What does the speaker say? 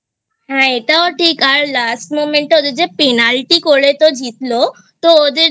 হ্যাঁ এটাও ঠিক আর Last Moment টা ওদের যে Penalty করে তো ওদের